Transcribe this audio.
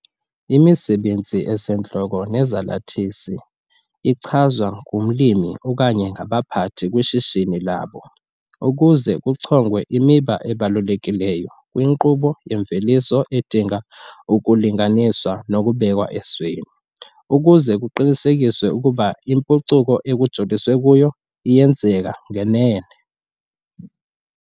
Imisebenzi esentloko nezalathisi ichazwa ngumlimi okanye ngabaphathi kwishishini labo ukuze kuchongwe imiba ebalulekileyo kwinkqubo yemveliso edinga ukulinganiswa nokubekw'esweni ukuze kuqinisekiswe ukuba impucuko ekujoliswe kuyo iyenzeka ngenene.